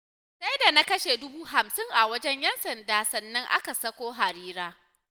Sai da na kashe dubu hamsin a wajen 'Yan sanda sannan aka sako Harira